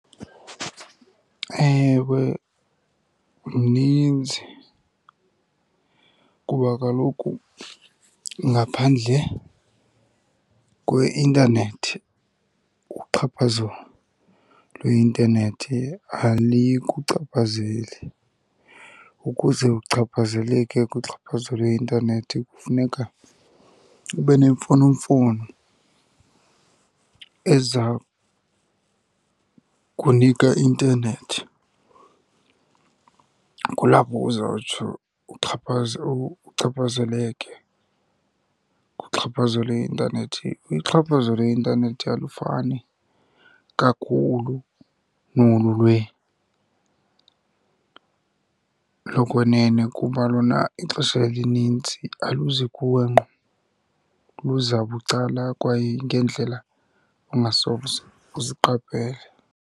Ewe, mninzi kuba kaloku ngaphandle kweintanethi uxhaphazo lweintanethi alikuchaphazeli. Ukuze uchaphazeleke kuxhaphazo lweintanethi kufuneka ube nemfonomfono ezakunika i-intanethi. Kulapho uzawutsho uxhaphaze, uchaphazeleke kuxhaphazo lweintanethi. Uxhaphazo lweintanethi alufani kakhulu nolu lokwenene kuba lona ixesha elininzi aluzi kuwe ngqo, luza bucala kwaye ngeendlela ongasoze uziqaphele.